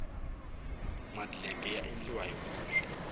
madleke ya endliwa hi vuswa